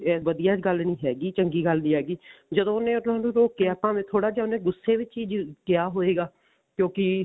ਵਧੀਆ ਗੱਲ ਨੀ ਹੈਗੀ ਚੰਗੀ ਗੱਲ ਨੀ ਹੈਗੀ ਜਦੋਂ ਉਹਨੇ ਉਹਨਾ ਨੂੰ ਰੋਕਿਆ ਭਾਵੇਂ ਉਹਨੇ ਥੋੜਾ ਜਾ ਗੁੱਸੇ ਵਿੱਚ ਹੀ ਕਿਹਾ ਹੋਵੇਗਾ ਕਿਉਂਕਿ